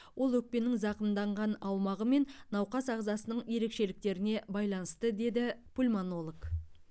ол өкпенің зақымданған аумағы мен науқас ағзасының ерекшеліктеріне байланысты деді пульмонолог